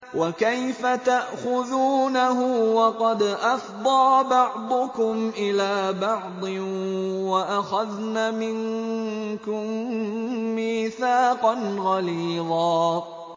وَكَيْفَ تَأْخُذُونَهُ وَقَدْ أَفْضَىٰ بَعْضُكُمْ إِلَىٰ بَعْضٍ وَأَخَذْنَ مِنكُم مِّيثَاقًا غَلِيظًا